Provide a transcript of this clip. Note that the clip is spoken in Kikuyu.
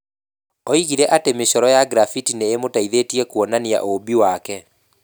Oigire atĩ mĩcoro ya graffiti nĩ ĩmũteithagia kũonania ũũmbi wake.